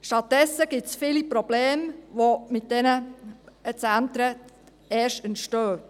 Stattdessen gibt es viele Probleme, die erst aufgrund solcher Zentren entstehen.